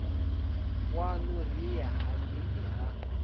waṋu ri ye hangei ha